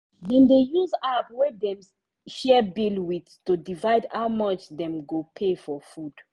dem dey use app wey dem share bill with to divide how much dem go pay for food.